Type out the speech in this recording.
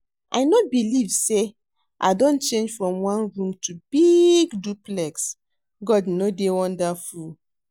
I no believe say I don change from one room to big duplex. God no dey wonderful?